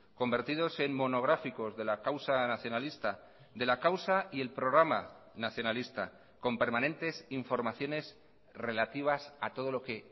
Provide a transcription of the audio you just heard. convertidos en monográficos de la causa nacionalista de la causa y el programa nacionalista con permanentes informaciones relativas a todo lo que